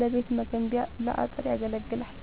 ለቤት መገንቢያ ለአጥር ያገለግላል።